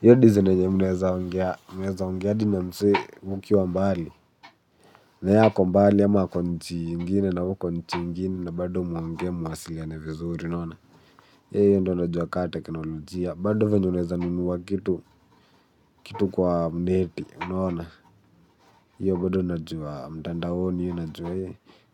Hiyo design yenye mnaweza ongea, mnaweza ongea na msee mkiwa mbali. Na ye ako mbali, ama ako nchi ingine na we uko nchi ingine na bado mnaongea mnawasiliana vizuri, unaona. Hiyo ndo najua ka teknolojia. Bado venye unaweza nunua kitu kwa mneti. Unaona? Hiyo bado najua mtandaoni, hiyo najua.